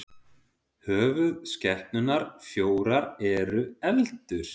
höfuðskepnurnar fjórar eru eldur